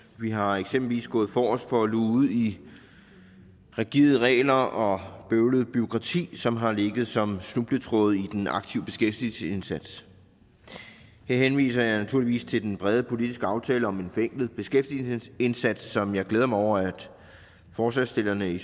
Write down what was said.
vi har eksempelvis gået forrest for at luge ud i rigide regler og bøvlet bureaukrati som har ligget som snubletråde i den aktive beskæftigelsesindsats her henviser jeg naturligvis til den brede politiske aftale om en forenklet beskæftigelsesindsats som jeg glæder mig over at forslagsstillerne i